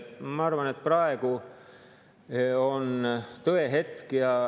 Ma arvan, et praegu on tõehetk.